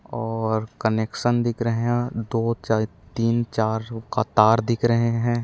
और कनेक्शन दिख रहे है दो चा तीन चार का तार दिख रहे है।